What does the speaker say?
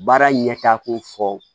Baara ɲɛtako fɔ